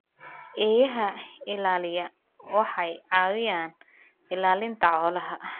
Eeyaha ilaaliya waxay caawiyaan ilaalinta xoolaha.